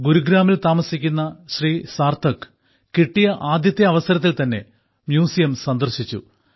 ഗുരുഗ്രാമിൽ താമസിക്കുന്ന ശ്രീമാൻ സാർത്ഥക് കിട്ടിയ ആദ്യത്തെ അവസരത്തിൽ തന്നെ മ്യൂസിയം സന്ദർശിച്ചു